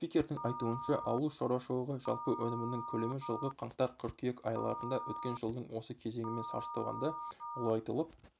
спикердің айтуынша ауыл шаруашылығы жалпы өнімінің көлемі жылғы қаңтар-қыркүйек айларында өткен жылдың осы кезеңімен салыстырғанда ұлғайтылып